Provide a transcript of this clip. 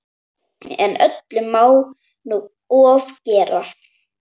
En öllu má nú ofgera.